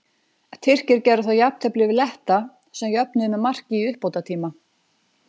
Tyrkir gerðu þá jafntefli við Letta sem jöfnuðu með marki í uppbótartíma.